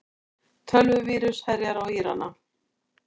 Tölvuvírus herjar á Írana